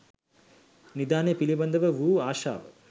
නිධානය පිළිබඳව වූ ආශාව